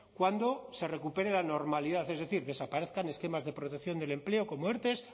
cuando se recupere la normalidad es decir desaparezcan esquemas de protección del empleo como erte